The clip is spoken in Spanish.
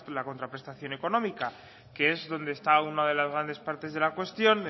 la contraprestación económica que es donde está una de las grandes partes de la cuestión